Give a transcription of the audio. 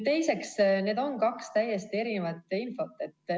Teiseks, need on kaks täiesti erinevat infot.